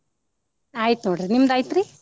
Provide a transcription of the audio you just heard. ಆಯ್ತ ನೋಡ್ರಿ ನಿಮ್ದ ಅಯ್ತ್ರಿ?